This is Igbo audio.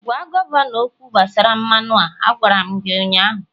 gwa gọvanọ okwu gbasara mmanụ a. Agwara m gi ụnyahụ!